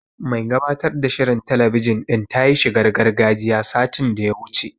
Mai gabatar da shirin talabijin din ta yi shigar gargajiya, satin da ya wuce.